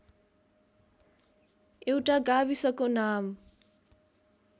एउटा गाविसको नाम